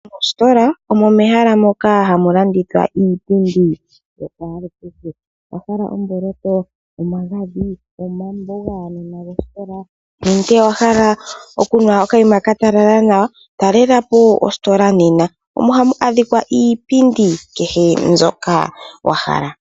Ositola omo mehala moka hamu landithwa iipindi yakwalukehe. Owa hala omboloto, omagadhi, omambo gaanona gosikola nenge owa hala okunwa okanima ka talala nawa? Talela po ositola nena omo hamu adhikwa iipindi kehe mbyoka wa hala.